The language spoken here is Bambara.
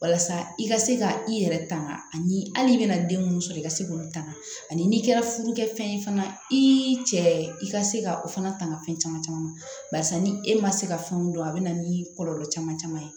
Walasa i ka se ka i yɛrɛ tanga ani hali i bɛna den minnu sɔrɔ i ka se k'olu tanga ani kɛ furu kɛ fɛn ye fana i cɛ i ka se ka o fana tanga fɛn caman caman barisa ni e ma se ka fɛnw dɔn a bɛ na ni kɔlɔlɔ caman caman ye